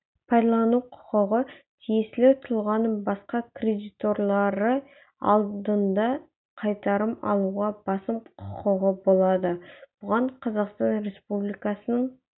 пайдалану құқығы тиесілі тұлғаның басқа кредиторлары алдында қайтарым алуға басым құқығы болады бұған қазақстан республикасының